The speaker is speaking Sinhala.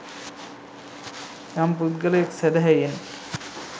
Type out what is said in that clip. යම් පුද්ගලයෙක් සැදැහැයෙන්